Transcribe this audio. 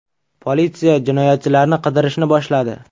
Politsiya jinoyatchilarni qidirishni boshladi.